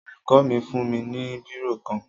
Olùkọ́ mi fún mi ní bírò kan